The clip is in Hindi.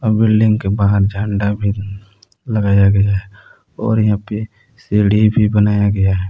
बिल्डिंग के बाहर झंडा भी लगाया गया है और यहां पे सीढ़ी भी बनाया गया है।